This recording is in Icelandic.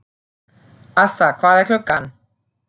Assa, hvað er klukkan?